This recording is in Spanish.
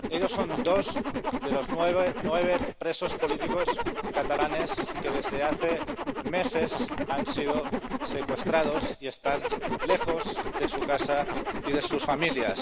Ellos son dos de los nueve presos políticos catalanes que desde hace meses han sido secuestrados y están lejos de su casa y de sus familias.